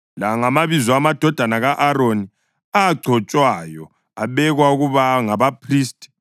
La ngamabizo amadodana ka-Aroni, agcotshwayo abekwa ukuba ngabaphristi.